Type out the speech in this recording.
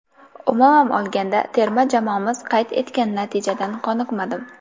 Umuman olganda, terma jamoamiz qayd etgan natijadan qoniqmadim.